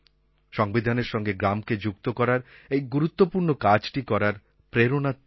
সংবিধানের সঙ্গে গ্রামকে যুক্ত করার এই গুরুত্বপূর্ণ কাজটি করার প্রেরণা তিনি